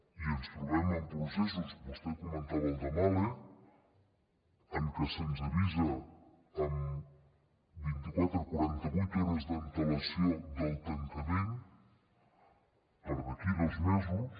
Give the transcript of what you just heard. i ens trobem amb processos vostè comentava el de mahle en què se’ns avisa amb vint iquatre o quaranta vuit hores d’antelació del tancament per a d’aquí a dos mesos